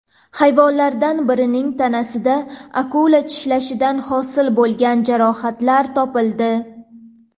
Hayvonlardan birining tanasida akula tishlashidan hosil bo‘lgan jarohatlar topildi.